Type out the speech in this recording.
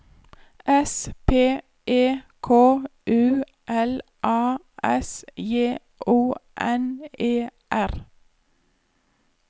S P E K U L A S J O N E R